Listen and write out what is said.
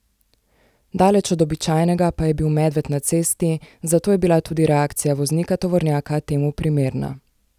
Daleč od običajnega pa je bil medved na cesti, zato je bila tudi reakcija voznika tovornjaka temu primerna.